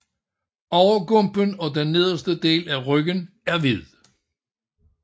Overgumpen og den nederste del af ryggen er hvid